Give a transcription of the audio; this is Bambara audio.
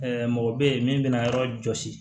mɔgɔ bɛ yen min bɛna yɔrɔ jɔsi